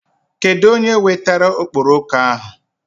Kedụ onye wetara okporoko ahụ?